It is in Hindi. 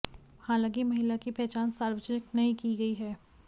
हालांकि महिला की पहचान सार्वजानिक नहीं की गई है